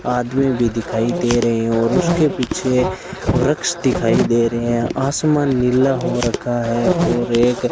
आदमी भी दिखाई दे रहे हैं और उसके पीछे वृक्ष दिखाई दे रहे हैं आसमान नीला हो रखा है और एक --